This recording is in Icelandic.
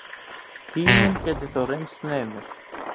Tíminn gæti þó reynst naumur.